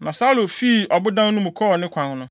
Na Saulo fii ɔbodan no mu kɔɔ ne kwan no.